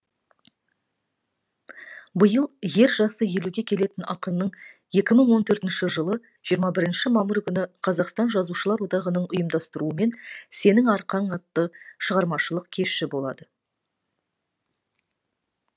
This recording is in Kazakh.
биыл ер жасы елуге келетін ақынның екі мың он төртінші жылы жиырма бірінші мамыр күні қазақстан жазушылар одағының ұйымдастыруымен сенің арқаң атты шығармашылық кеші болады